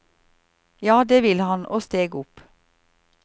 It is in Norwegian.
Ja, det ville han, og steg opp.